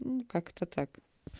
как-то так